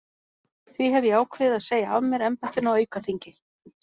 Því hef ég ákveðið að segja af mér embættinu á aukaþingi.